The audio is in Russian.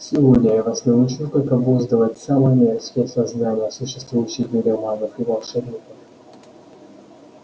сегодня я вас научу как обуздывать самые мерзкие создания существующие в мире магов и волшебников